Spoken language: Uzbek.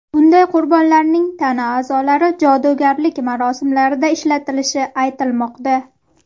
Bunday qurbonlarning tana a’zolari jodugarlik marosimlarida ishlatilishi aytilmoqda.